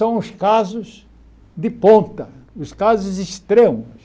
São os casos de ponta, os casos extremos.